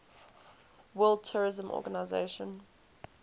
world tourism organization